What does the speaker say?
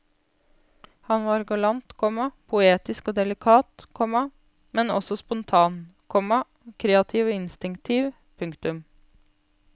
Han var galant, komma poetisk og delikat, komma men også spontan, komma kreativ og instinktiv. punktum